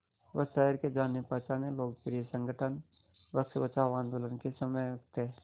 वह शहर के जानेपहचाने लोकप्रिय संगठन वृक्ष बचाओ आंदोलन के समन्वयक थे